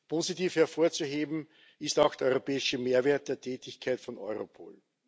Positiv hervorzuheben ist auch der europäische Mehrwert der Tätigkeit von Europol.